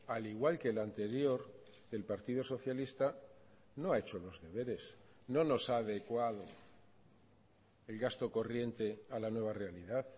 al igual que el anterior del partido socialista no ha hecho los deberes no nos ha adecuado el gasto corriente a la nueva realidad